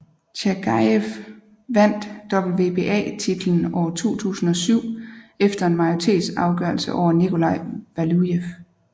Tjagajev vandt WBA titellen år 2007 efter en majoritetsafgørelse over Nikolaj Valujev